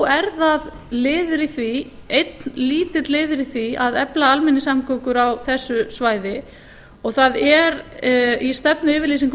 en þó er það einn lítill liður í því að efla almenningssamgöngur á þessu svæði og í stefnuyfirlýsingu